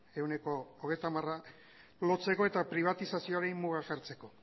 ehuneko hogeita hamara lotzeko eta pribatizazioari muga jartzeko